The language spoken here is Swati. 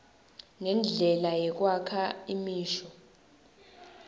nendlela yekwakha imisho